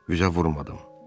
Üzə vurmadım.